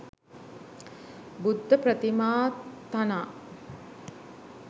බුද්ධ ප්‍රතිමා තනා